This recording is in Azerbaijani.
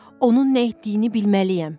Onun nə etdiyini bilməliyəm.